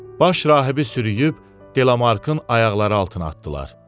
Baş Rahibi sürüyüb Delamarkın ayaqları altına atdılar.